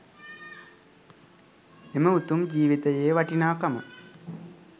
එම උතුම් ජීවිතයේ වටිනාකම